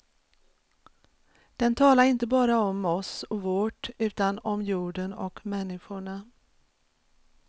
Den talar inte bara om oss och vårt utan om jorden och människorna.